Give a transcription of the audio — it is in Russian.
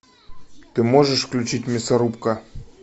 ты можешь включить мясорубка